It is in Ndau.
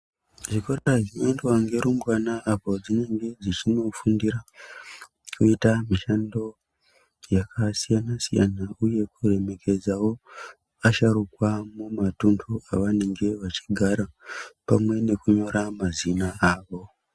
Zvikora zvinoendwa ngerumbwana apo dzinenge dzichindofundira kuita mishando yakasiyana siyana uye kuremekedzawo asharukwa mumatunhu avanenge vachigara pamwe nekunyora mazina awo.